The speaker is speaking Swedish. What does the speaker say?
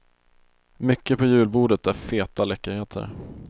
Mycket på julbordet är feta läckerheter.